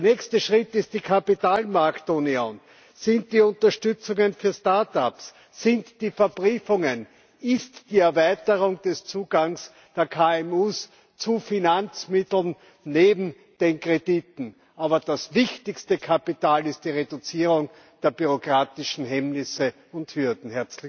Der nächste Schritt ist die Kapitalmarktunion, sind die Unterstützungen für Startups, sind die Verbriefungen, ist die Erweiterung des Zugangs der KMU zu Finanzmitteln neben den Krediten. Aber das wichtigste Kapital ist die Reduzierung der bürokratischen Hemmnisse und Hürden.